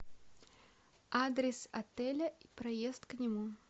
адрес отеля и проезд к нему